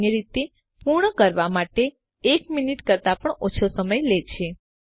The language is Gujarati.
સામાન્ય રીતે તે પૂર્ણ કરવા માટે એક મિનિટ કરતાં પણ ઓછો સમય લે છે